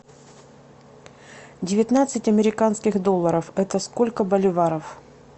девятнадцать американских долларов это сколько боливаров